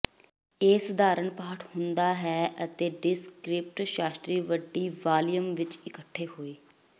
ਇਹ ਸਧਾਰਨ ਪਾਠ ਹੁੰਦਾ ਹੈ ਅਤੇ ਡਿਸਕ੍ਰਿਪਟ ਸ਼ਾਸਤਰੀ ਵੱਡੀ ਵਾਲੀਅਮ ਵਿੱਚ ਇਕੱਠੇ ਹੋਏ